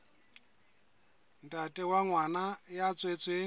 ntate wa ngwana ya tswetsweng